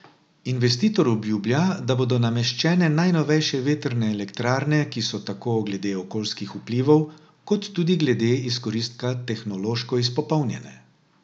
Investitor obljublja, da bodo nameščene najnovejše vetrne elektrarne, ki so tako glede okoljskih vplivov kot tudi glede izkoristka tehnološko izpopolnjene.